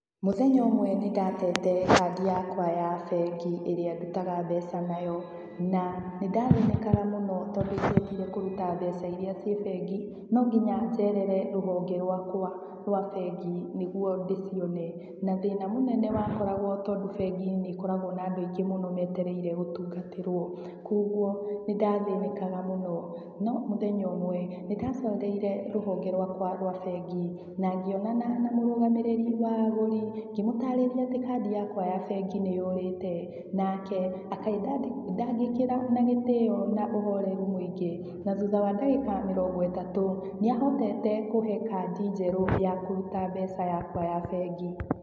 Mũthenya ũmwe nĩ ndatete kandi yakwa ya bengi ĩrĩa ndutaga mbeca nayo. Na nĩ ndathĩnĩkaga mũno tondũ ingiendire kũruta mbeca iria ciĩ bengi, no nginya njerere rũhonge rwakwa rwa bengi nĩguo ndĩcione. Na thĩna mũnene wakoragwo tondũ bengi nĩ ĩkoragwo na andũ aingĩ mũno meetereire gũtungatĩrwo, kũoguo nĩ ndathĩnĩkaga mũno. No mũthenya ũmwe, nĩ ndacereire rũhonge rwakwa rwa bengi, na ngĩonana na mũrũgamĩrĩri wa agũri, ngĩmũtaarĩria atĩ kandi yakwa ya bengĩ nĩ yũrĩte, nake akĩndangĩkĩra na gĩtĩo na ũhoreru mũingĩ. Na thutha wa ndagĩka mĩrongo ĩtatũ, nĩ ahotete kũhe kandi njerũ ya kũruta mbeca yakwa ya bengi.